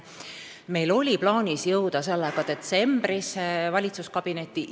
Meil oli plaanis sellega detsembris valitsuskabinetti jõuda.